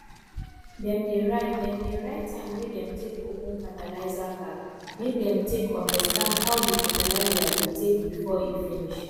dem dey write dem dey write time wey dem take open fertilizer bag make dem take understand how di fertilizer dey take before e finish